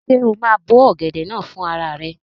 Ṣé o máa bó ọ̀gẹ̀dẹ̀ náà fún rara rẹ?